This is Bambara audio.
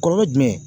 Kɔlɔlɔ jumɛn